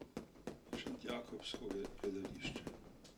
Šentjakobsko gledališče.